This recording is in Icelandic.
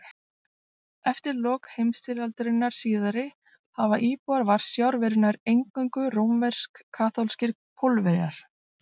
Eftir lok heimstyrjaldarinnar síðari hafa íbúar Varsjár verið nær eingöngu rómversk-kaþólskir Pólverjar.